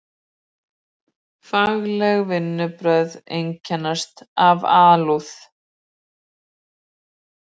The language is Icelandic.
Fagleg vinnubrögð einkennast af alúð.